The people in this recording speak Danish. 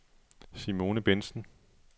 Simone Bendtsen